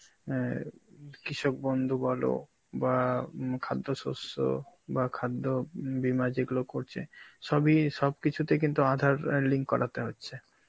অ্যাঁ কৃষক বন্ধু বলো বা উম খাদ্যশস্য বা খাদ্য বীমা যেগুলো করছে, সবই~ সবকিছুতেই কিন্তু আধার এর link করাতে হচ্ছে.